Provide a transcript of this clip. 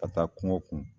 Ka taa kungo kun